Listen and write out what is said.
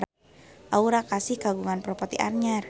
Aura Kasih kagungan properti anyar